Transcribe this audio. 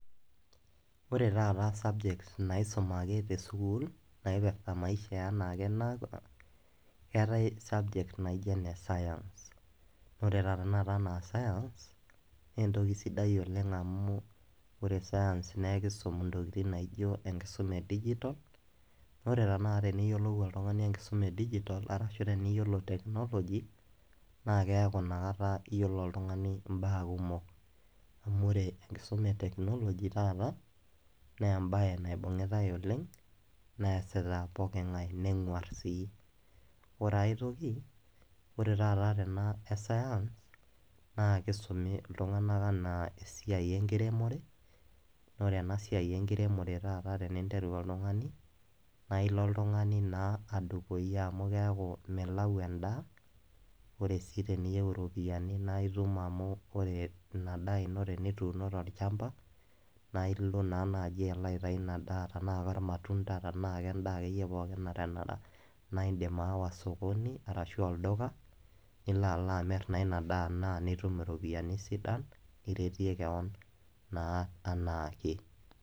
Ore taata subjects naisumaki te school naaipirta maisha keetai subject naji ene science ore tenakata science naa entoki sidai oleng amu ore science naa enkisum intokitin naijio enkisuma e digital ore tenakata teneyiolou oltung'ani enkisuma e digital naa eisidai oleng teniyiolo technology naa keeku inakata iyiolo oltung'ani imbaa kumok ore enkisuma e technology taata naa embaye neibung'itae oleng neesita pooki ng'ae nenyor sii ore ae toki ore taata ena toki naji science naa keisumi iltung'anak esiai enkiremore naa ore ena siai enkiremore taata naa naa interu oltung'ani lino iltung'anak naa aaku milau endaa naa teniyieu iropiyiani naa itum amu amu ore ina daa ino tenitum naa itum naa naaji alo atum endaa pookin akeyie naa indiim aawa olduka na ilo amir naa nitum iropiyiani sidan niretie kewon naa enaake.